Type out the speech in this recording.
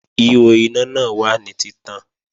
Ihò iná náà wà ní títàn